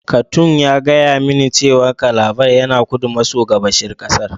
Katung ya gaya mani cewa Calabar yana kudu maso gabashin kasar.